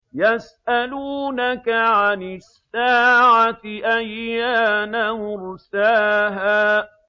يَسْأَلُونَكَ عَنِ السَّاعَةِ أَيَّانَ مُرْسَاهَا